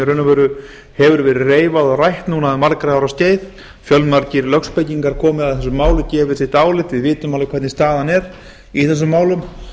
veru hefur verið reifað og rætt núna um margra ára skeið fjölmargir lögspekingar komið að þessu máli og gefið sitt álit við vitum alveg hvernig staðan er í þessum málum